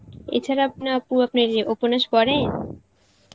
এছাড়া আপনে আপু আপনে এই উপন্যাস পড়েন?